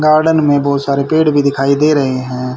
Garden में बहुत सारे पेड़ भी दिखाई दे रहे हैं।